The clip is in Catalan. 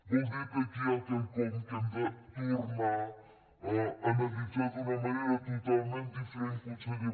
vol dir que aquí hi ha quelcom que hem de tornar a analitzar d’una manera totalment diferent conseller